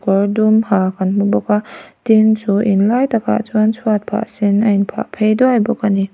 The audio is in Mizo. kawr dum ha kan hmu bawk a tin chu in lai takah chuan chhuat phah sen a in phah phei duai bawk a ni.